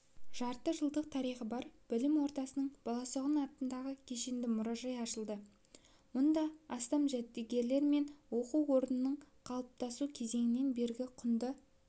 жарты жылдық тарихы бар білім ордасында баласағұн атындағы кешенді мұражай ашылды мұнда астам жәдігерлер мен оқу орнының қалыптасу кезеңінен бергі құнды